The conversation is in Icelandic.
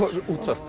útvarpið